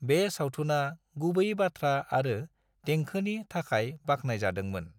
बे सावथुना गुबै बाथ्रा आरो देंखोनि थाखाय बाखनायजादोंमोन।